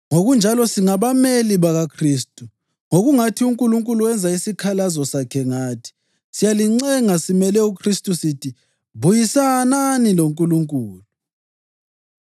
Ngokunjalo, singabameli bakaKhristu, ngokungathi uNkulunkulu wenza isikhalazo sakhe ngathi. Siyalincenga simele uKhristu sithi: Buyisanani loNkulunkulu.